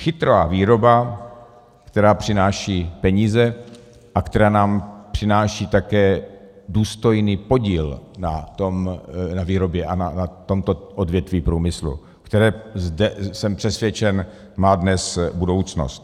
Chytrá výroba, která přináší peníze a která nám přináší také důstojný podíl na výrobě a na tomto odvětví průmyslu, které - jsem přesvědčen - má dnes budoucnost.